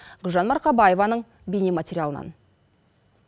гүлжан марқабаеваның бейнематериалынан